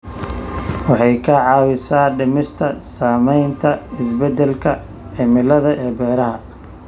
Waxay ka caawisaa dhimista saamaynta isbeddelka cimilada ee beeraha.